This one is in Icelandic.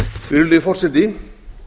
virðulegi forseti